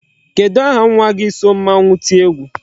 Kedụ aha nwa gi so mmanwu tie egwu?